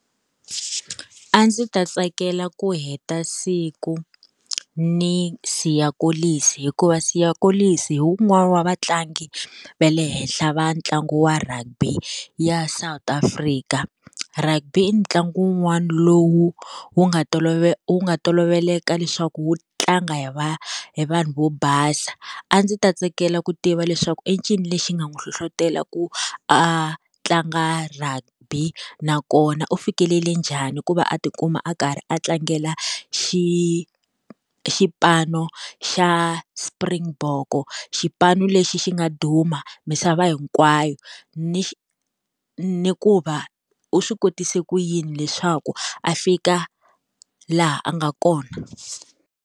A ndzi ta tsakela ku heta siku ni Siya Kolisi hikuva Siya Kolisi hi wun'wana wa vatlangi va le henhla va ntlangu wa rugby ya South Africa. Rugby i ntlangu wun'wana lowu wu nga wu nga toloveleka leswaku wu tlanga hi va hi vanhu vo basa, a ndzi ta tsakela ku tiva leswaku i ncini lexi nga n'wi hlohlotela ku a tlanga rugby nakona u fikelele njhani ku va a ti kuma a karhi a tlangela xipano xa Springbok, xipano lexi xi nga duma misava hinkwayo ni ni ku va u swi kotise ku yini leswaku a fika laha a nga kona.